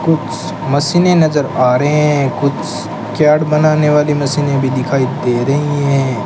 कुछ मशीने नजर आ रहे हैं कुछ क्यार्ड बनाने वाली मशीने भी दिखाई दे रही हैं।